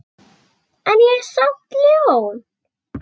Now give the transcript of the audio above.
En ég er samt ljón.